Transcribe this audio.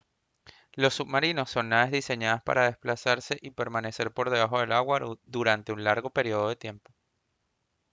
los submarinos son naves diseñadas para desplazarse y permanecer por bajo del agua durante un largo período de tiempo